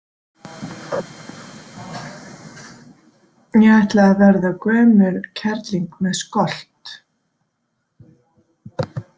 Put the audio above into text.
Ég ætla að verða gömul kerling með skolt.